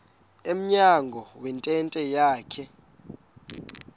emnyango wentente yakhe